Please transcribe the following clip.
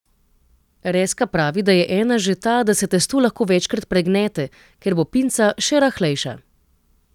Rezka pravi, da je ena že ta, da se testo lahko večkrat pregnete, ker bo pinca še rahlejša.